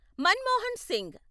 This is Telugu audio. మన్మోహన్ సింగ్